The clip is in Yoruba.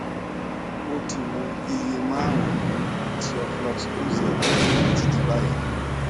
ó ti mu iye márùnún ti oflox oz títí di báyìí